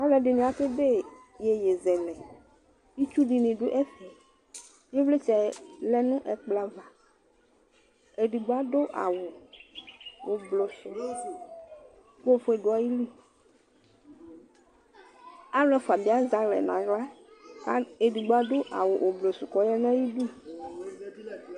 Alu ɛdini aka edè iyeyezeɛlɛ, itsu di ni du ɛfɛ̃, ivlitsɛ lɛ nu ɛkplɔ ava, edigbo adu awù ublɔ sù k'ɔfue du ayili, alu ɛfua bi azɛ alɛ n'aɣla ku edigbo bi adu awù ublɔ su k'ɔya nu atami idú